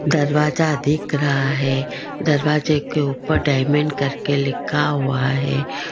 दरवाजा देख रहा है दरवाजे के ऊपर डायमंड करके लिखा हुआ है।